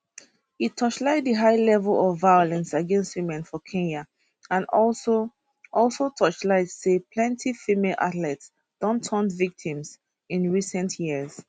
e torchlight di high level of violence against women for kenya and also also torchlight say plenti female athletes don turn victims in recent years